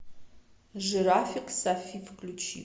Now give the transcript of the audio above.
жирафик софи включи